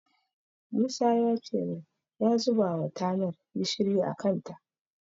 Musa yace min ya zubawa tanar gishiri a kanta.